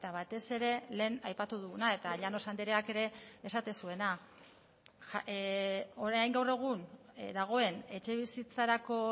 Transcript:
batez ere lehen aipatu duguna eta llanos andreak ere esaten zuena orain gaur egun dagoen etxebizitzarako